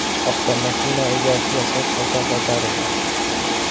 Avtomashina egasiga soz holda qaytarildi.